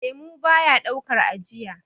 lemo baya daukar ajiya